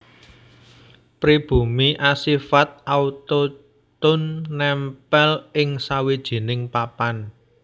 Pribumi asifat autochton nèmpèl ing sawijining papan